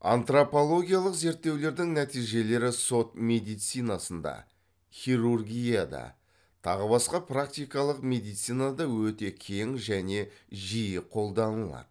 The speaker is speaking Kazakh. антропологиялық зерттеулердің нәтижелері сот медицинасында хирургияда тағы басқа практикалық медицинада өте кең және жиі қолданылады